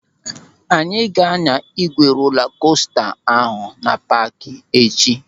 Anyị ga-anya ígwè rola kosta ahụ na paaki echi.